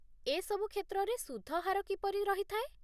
ଏସବୁ କ୍ଷେତ୍ରରେ ସୁଧ ହାର କିପରି ରହିଥାଏ ?